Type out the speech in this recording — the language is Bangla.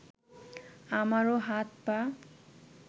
আমারও হাত পা